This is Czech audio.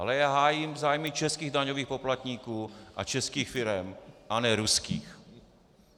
Ale já hájím zájmy českých daňových poplatníků a českých firem, a ne ruských.